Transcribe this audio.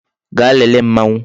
Gaa lele Mmanwu